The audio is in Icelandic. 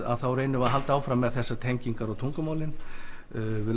þá reynum við að halda áfram með þessar tengingar og tungumálin við